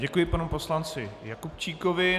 Děkuji panu poslanci Jakubčíkovi.